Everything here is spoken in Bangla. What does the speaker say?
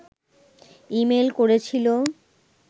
ইমেইল করেছিল